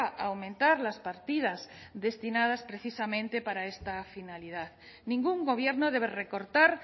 a aumentar las partidas destinadas precisamente para esta finalidad ningún gobierno debe recortar